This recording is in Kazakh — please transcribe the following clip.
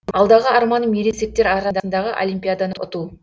алдағы арманым ересектер арадағы олимпиаданы ұту